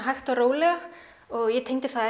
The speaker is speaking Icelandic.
hægt og rólega ég tengdi það